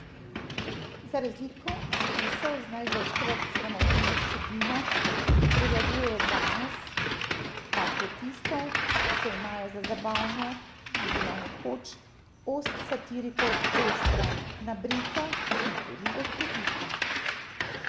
Za razliko od spisov z največkrat sramotilno vsebino, ki prevladujejo danes, pamfletistov, ki se imajo za zabavne, je bila nekoč ost satirikov ostra, nabrita in tudi duhovita.